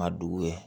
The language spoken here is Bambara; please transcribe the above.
Ma dugu ye